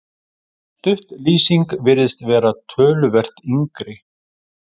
Sú lýsing virðist vera töluvert yngri.